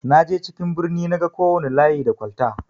Naje cikin birni naga kowana layi da kwalta.